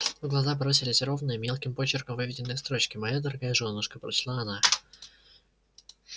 в глаза бросились ровные мелким почерком выведенные строчки моя дорогая жёнушка прочла она